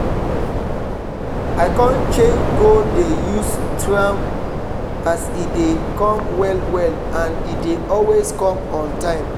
i con change go dey use tram as e dey come well well and e dey always come on time